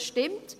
Das stimmt.